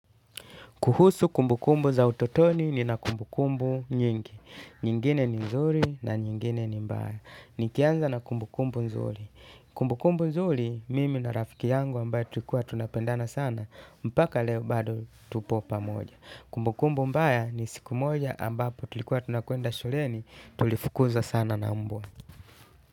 Kuhusu kumbu kumbu za utotoni ni na kumbu kumbu nyingi. Nyingine ni mzuri na nyingine ni mbaya. Nikianza na kumbu kumbu nzuri. Kumbu kumbu nzuri, mimi na rafiki yangu ambaye tuikua tunapendana sana. Mpaka leo bado tupo pamoja. Kumbu kumbu mbaya ni siku moja ambapo tuikua tunakuenda shuleni. Tulifukuza sana na mbwa.